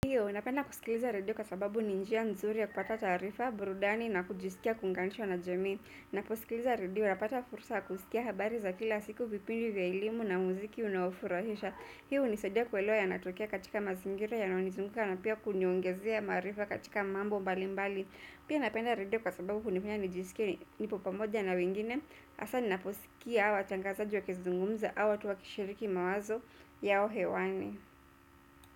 Ndiyo, napenda kusikiliza radio kwa sababu ni njia nzuri ya kupata taarifa, burudani na kujisikia kuunganishwa na jamii. Ninaposikiliza radio, napata fursa kusikia habari za kila siku vipindi vya elimu na muziki unaofurahisha. Hiyo hunisadia kuelewa yanatokea katika mazingira yanayo nizunguka na pia kuniongezea maarifa katika mambo mbali mbali. Pia napenda radio kwa sababu hunifanya nijisikie nipo pamoja na wengine. Haswa, ninaposikia watangazaji wakizungumza au watu wakishiriki mawazo yao hewani.